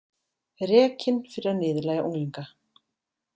Rekinn fyrir að niðurlægja unglinga